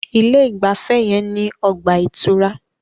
Ilé ìgbafẹ́ yẹn ní ọgbà ìtura.